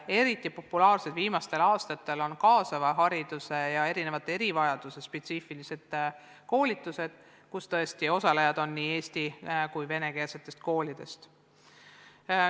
Eriti populaarsed on viimastel aastatel kaasava hariduse ja erivajaduse spetsiifilised koolitused, kus osalejad on tõesti nii eesti- kui ka venekeelsetest koolidest.